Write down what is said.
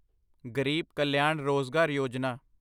ਗਰੀਬ ਕਲਿਆਣ ਰੋਜਗਾਰ ਯੋਜਨਾ